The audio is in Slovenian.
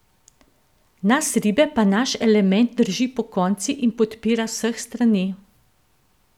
Nas ribe pa naš element drži pokonci in podpira z vseh strani.